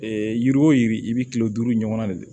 yiri o yiri i bɛ kile duuru ɲɔgɔnna de kɛ